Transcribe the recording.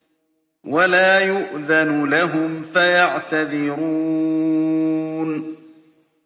وَلَا يُؤْذَنُ لَهُمْ فَيَعْتَذِرُونَ